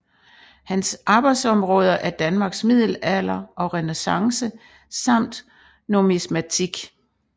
Hans arbejdsområder er Danmarks middelalder og renæssance samt numismatik